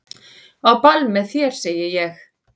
Á ball með þér segi ég.